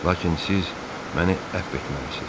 Lakin siz məni əfv etməlisiniz.